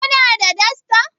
Kuna da dasta?